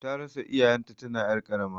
Tarasa iyayen ta tana ƴar karama